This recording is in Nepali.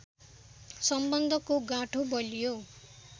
सम्बन्धको गाँठो बलियो